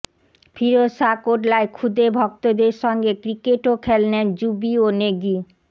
ফিরোজ শা কোটলায় খুদে ভক্তদের সঙ্গে ক্রিকেটও খেললেন যুবি ও নেগি